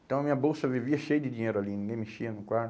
Então, a minha bolsa vivia cheia de dinheiro ali, ninguém mexia no quarto.